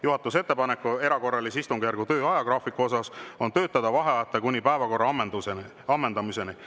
Juhatuse ettepanek erakorralise istungjärgu töö ajagraafiku kohta on töötada vaheajata kuni päevakorra ammendumiseni.